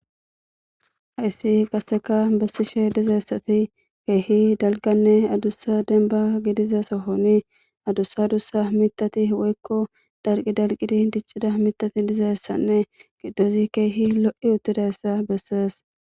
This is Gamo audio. hayssi qasseka bessishe dizeessati keehi dalganne adussa denba gidiza sohoni adussa adussa mitati woykko dalqi dalqidi diccida mitati dizeessanne qiddozi keehi lo7i uttidayssa bessees